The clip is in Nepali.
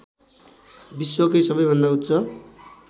विश्वकै सबैभन्दा उच्च